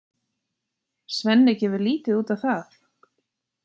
Svenni gefur lítið út á það.